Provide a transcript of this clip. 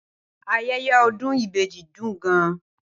Ayẹyẹ Ọdún Ibeji dùn gan-an.